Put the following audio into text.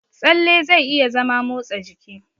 Tsalle zai iya zama motsa jiki.